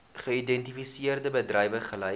geïdentifiseerde bedrywe gelys